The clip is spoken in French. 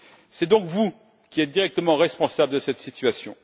C'est donc vous qui êtes directement responsables de cette situation.